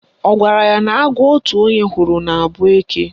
Ọ gwara ya na agwọ otu onye hụrụ na-abụ eke?